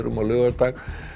á laugardag